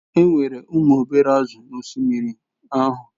Enwere ụmụ obere azụ̀ n'osimiri ahụ.